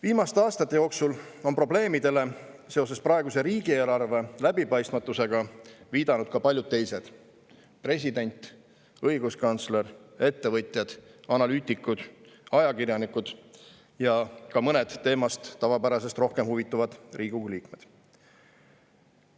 Viimaste aastate jooksul on praeguse riigieelarve läbipaistmatusest tingitud probleemidele viidanud ka paljud teised: president, õiguskantsler, ettevõtjad, analüütikud, ajakirjanikud ja ka mõned teemast tavapärasest rohkem huvituvad Riigikogu liikmed.